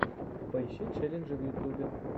поищи челленджи в ютубе